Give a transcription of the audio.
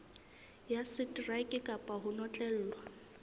ya seteraeke kapa ho notlellwa